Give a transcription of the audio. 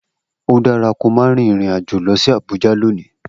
O dara ki o ma rin irin ajo lọ si Abuja loni!